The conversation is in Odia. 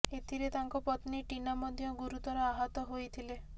ଏଥିରେ ତାଙ୍କ ପତ୍ନୀ ଟିନା ମଧ୍ୟ ଗୁରୁତର ଆହତ ହୋଇଥିଲେ